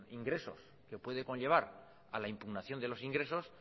ingresos que puede conllevar a la impugnación de los ingresos